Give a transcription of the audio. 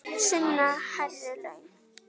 Sunna: Hærri laun?